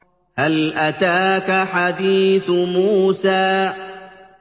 هَلْ أَتَاكَ حَدِيثُ مُوسَىٰ